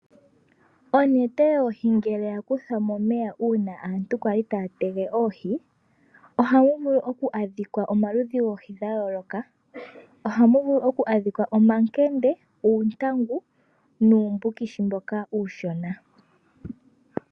Onete yoohi uuna ya kuthwa momeya uuna aantu yali taya tege oohi ohamu vulu okwadhika omaludhi goohi ga yooloka ngaashi omankende, uuntangu nuumbukishi mboka uushona.